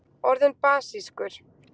orðin basískur